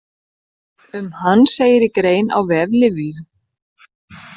Um hann segir í grein á vef Lyfju.